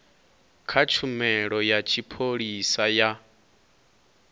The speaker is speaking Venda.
kha tshumelo ya tshipholisa ya